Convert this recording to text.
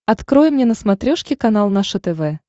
открой мне на смотрешке канал наше тв